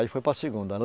Aí foi para a segunda.